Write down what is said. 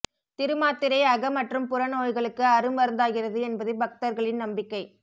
திருமாத்திரை அக மற்றும் புற நோய்களுக்கு அரு மருந்தாகிறது என்பது பக்தர்களின் நம்பிக்கை